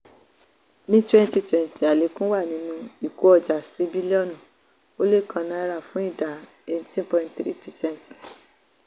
ní 2020 àlékún wà nínú ìkó ọjà sí bílíọ̀nu ó lé kan náírà fún ìdá 18.3 percent.